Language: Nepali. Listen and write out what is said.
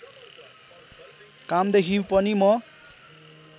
कामदेखि पनि म